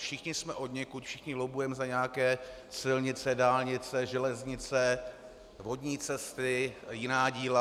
Všichni jsme odněkud, všichni lobbujeme za nějaké silnice, dálnice, železnice, vodní cesty a jiná díla.